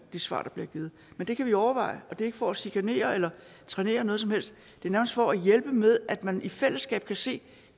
de svar der bliver givet men det kan vi overveje og det er ikke for at chikanere eller trænere noget som helst det er nærmest for at hjælpe med at man i fællesskab kan se